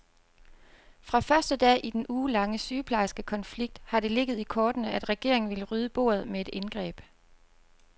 Fra første dag i den ugelange sygeplejerskekonflikt, har det ligget i kortene, at regeringen ville rydde bordet med et indgreb.